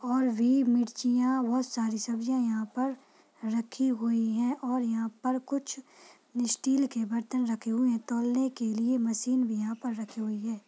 और भी मिरचिया और बहुत सारी सब्जियाँ यहाँ पर रखी हुई है और यहाँ पर कुछ स्टील के बर्तन रखे हुवे है तोलने के लिए मशीन भी यह पर रखी हुई है।